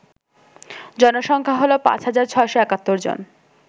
জনসংখ্যা হল ৫৬৭১ জন